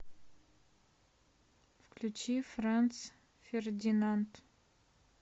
включи франц фердинанд